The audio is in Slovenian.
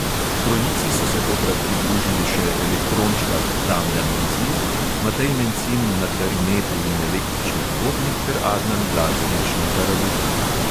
Trojici so se tokrat pridružili še elektrončkar damjan bizilj, matej mencin na klarinetu in električnih bobnih ter adnan blaževič na tarabuki.